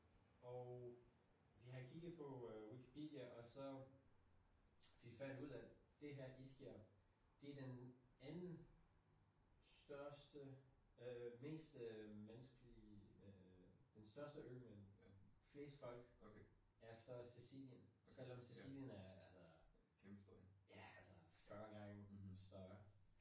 Og vi har kigget på øh Wikipedia og så vi fandt ud af det her Ischia det den anden største øh mest øh menneskelige øh den største ø med den flest folk efter Scicilien selvom Scicilien er altså ja altså 40 gange større